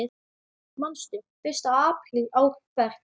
Manstu: Fyrsta apríl ár hvert.